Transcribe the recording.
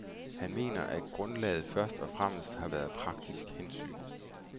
Han mener, at grundlaget først og fremmest har været praktiske hensyn.